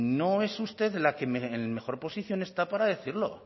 no es usted la que en mejor posición está para decirlo